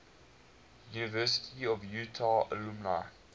university of utah alumni